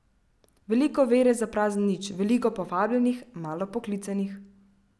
Veliko vere za prazen nič, veliko povabljenih, malo poklicanih.